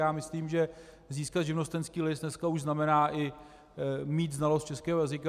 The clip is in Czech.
Já myslím, že získat živnostenský list dneska už znamená i mít znalost českého jazyka.